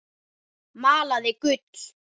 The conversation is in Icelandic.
Malaði gull.